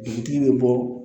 Dugutigi bɛ bɔ